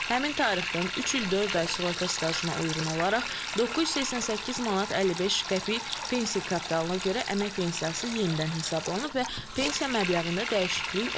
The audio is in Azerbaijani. Həmin tarixdən üç il dörd ay sığorta stajına uyğun olaraq 988 manat 55 qəpik pensiya kapitalına görə əmək pensiyası yenidən hesablanıb və pensiya məbləğində dəyişiklik olmayıb.